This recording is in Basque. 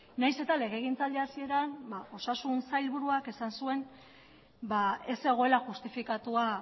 nahiz eta legegintzaldi hasieran osasun sailburuak esan zuen ez zegoela justifikatua